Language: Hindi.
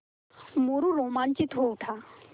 मोरू रोमांचित हो उठा